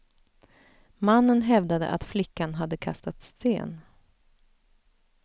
Mannen hävdade att flickan hade kastat sten.